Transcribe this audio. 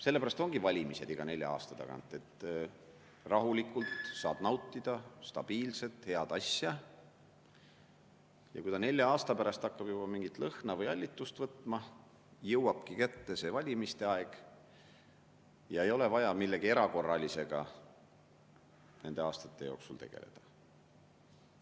Sellepärast ongi valimised iga nelja aasta tagant, et rahulikult saad nautida stabiilselt head asja ja kui ta nelja aasta pärast hakkab juba mingit lõhna või hallitust võtma, jõuabki kätte valimiste aeg ja ei ole vaja millegi erakorralisega nende aastate jooksul tegeleda.